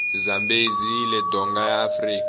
zambezi yile donga yaafrika